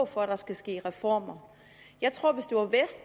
for at der skal ske reformer jeg tror